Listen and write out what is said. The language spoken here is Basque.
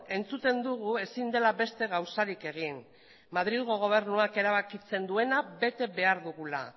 entzuten dugu ezin dela beste gauzarik egin madrilgo gobernuak erabakitzen duena bete behar dugula